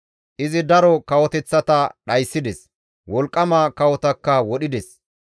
Izi daro kawoteththata dhayssides; wolqqama kawotakka wodhides.